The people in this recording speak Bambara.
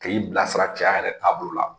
K'i bilasira cɛya yɛrɛ taabolo la.